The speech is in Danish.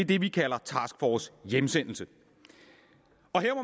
det vi kalder task force hjemsendelse